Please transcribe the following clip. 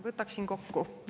Võtaksin kokku.